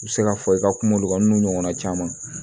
I bɛ se k'a fɔ i ka kuma mun kan n'o ɲɔgɔnna caman